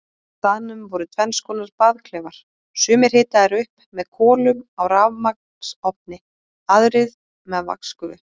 Á staðnum voru tvennskonar baðklefar, sumir hitaðir upp með kolum á rafmagnsofni, aðrir með vatnsgufu.